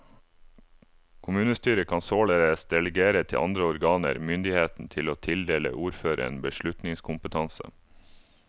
Kommunestyret kan således delegere til andre organer myndigheten til å tildele ordføreren beslutningskompetanse.